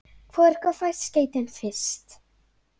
Hvor ykkar fær skeytin fyrst?